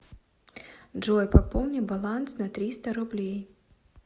джой пополни баланс на триста рублей